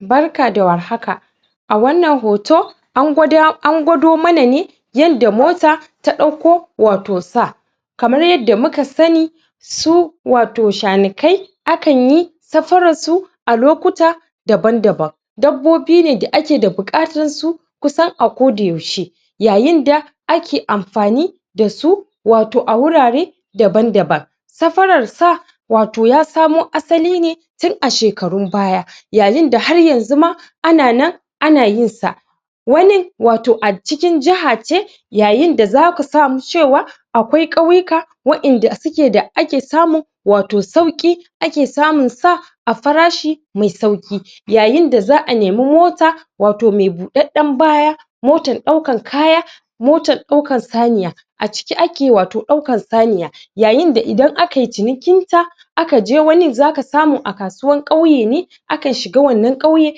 Barka da warhaka. A wannan hoto an gwado mana ne yanda mota ta dauko wato sa. Kamar yanda muka sani, su wato shanikai (shanaye) a kanyi safarar su a lokuta daban-daban. Dabbobi ne da ake da bukatan su kusan a ko da yaushe yayin da a ke amfani da su wato a wurare daban-daban. Safarar sa wato ya samo asali ne tun a shekarun baya yayin da har yanzu ma a na nan a na yin sa Wani wato a cikin jaha ce yayinda za ka samu cewa akwai kauyuka wadanda suke da ake samu wato sauki ake samu sa a farashi mai sauki. Yayinda za'a nemi mota wato mai budadden baya motan daukan kaya motan daukan saniya A ciki ake wato daukan saniya yayinda idan akayi cinikin sa aka je wani zaka samu a kasuwan kauye ne akan shiga wannan kauyen,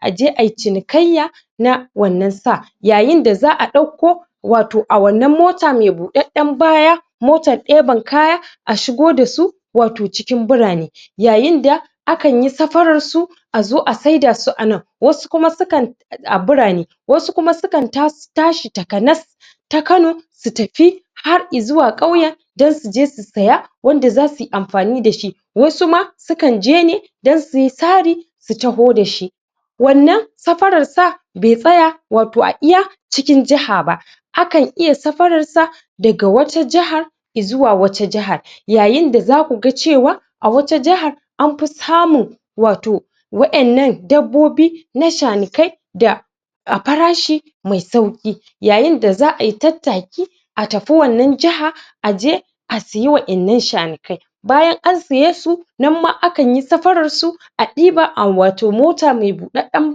a je ayi cinikayya na wannan sa. Yayinda za'a dauko wato a wannan motan mai budadden baya motan deban kaya a shigo da su wato burane yayinda a kanyi safarar su a zo a saida su anan. Wasu kuma su kan a burane wasu kuma su kan tashi takanas ta kano su tafi har izuwa kauyen don su je su saya wanda za suyi amfani dashi Wasu ma su kan je ne don suyi sari su taho dashi wannan safarar sa bai tsaya wato a iya cikin jaha ba, akan iya safarar sa daga wata jahar izuwa wata jahar. Yayinda za kuga cewa a wata jahar an fi samun wato wadannan dabbobi na shanikai da a farashi mai sauki. Yayinda za'ayi tattaki a tafi wannan jahar a je a sayi wannan shanikai. Bayan an siye su, nan ma akanyi safarar su a diba a wato mota mai budadden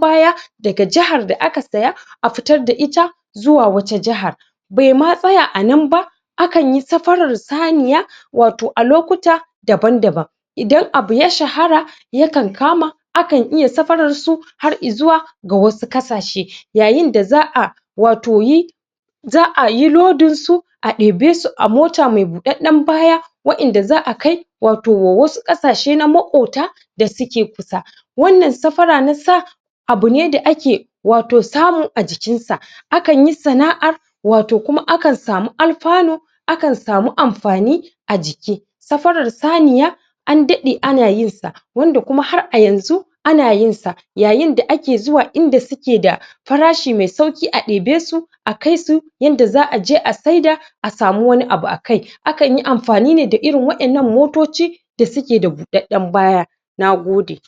baya daga jahar da aka saya a fitar da ita zuwa wata jahar. Bai ma tsaya anan ba akan yi safarar saniya wato a lokuta daban-daban. Idan abu ya shahara ya kan kama a kan iya safarar su har izuwa ga wasu kasashe, Yayinda za'a wato yi za'a yi lodin su a debe su a mota mai budadden baya wadanda za'a kai wato wasu kasashe na makota da suke kusa. Wannan safara na sa abu ne da ake wato samu a cikin sa, a kanyi sana'ar wato kuma akan samu alfanu a kan samu amfani a ciki Safarar saniya an dade ana yin sa wanda kuma har a yanzu ana yin sa. Yayinda ake zuwa inda zuke da farashi mai sauki a debe su a kaisu yanda za'aje a saida a samu wani abu a kai a kanyi amfani ne da wadannan motoci da suke da budadden baya Na gode.